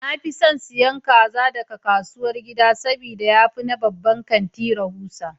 Na fi son siyan kaza daga kasuwar gida saboda ya fi na babban kanti rahusa.